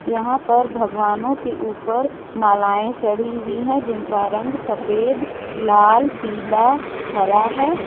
यहां पर भगवानों के ऊपर मालाएं चढ़ी हुई है जिनका रंग सफेद लाल पीला हरा है।